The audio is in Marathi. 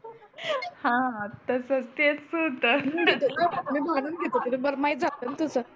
हा हा तसच तेच होत मी घालून घेत होतो मला माहीत झाल णा तस